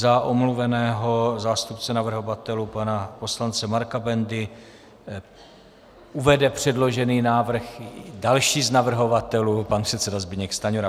Za omluveného zástupce navrhovatelů pana poslance Marka Bendu uvede předložený návrh další z navrhovatelů, pan předseda Zbyněk Stanjura.